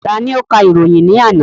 Ta ni ó ka ìròyìn ní àná?